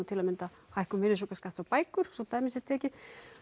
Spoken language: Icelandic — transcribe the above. til að mynda hækkun virðisaukaskatts á bækur svo dæmi sé tekið